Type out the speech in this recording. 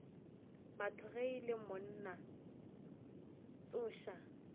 ge o le monna tsoša